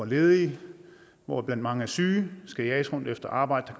ledige hvoraf mange er syge skal jages rundt efter arbejde